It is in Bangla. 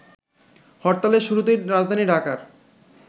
হরতালের শুরুতেই রাজধানী ঢাকার